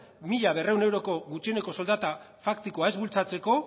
mila berrehun euroko gutxieneko soldata faktikoa ez bultzatzeko